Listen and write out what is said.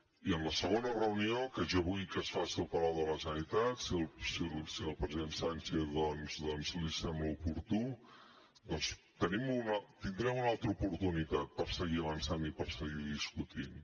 i en la segona reunió que jo vull que es faci al palau de la generalitat si al president sánchez li sembla oportú doncs tindrem una altra oportunitat per seguir avançant i per seguir discutint